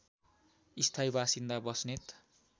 स्थायी बासिन्दा बस्नेत